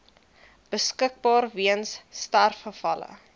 beskikbaar weens sterfgevalle